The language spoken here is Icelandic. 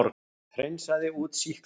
Hreinsaði út sýklana.